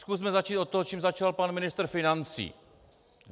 Zkusme začít od toho, čím začal pan ministr financí.